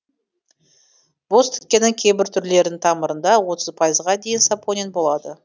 бозтікеннің кейбір түрлерінің тамырында отыз пайызға дейін сапонин болады